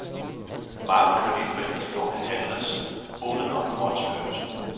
Mange kreditforeningslån handles uden om fondsbørsen.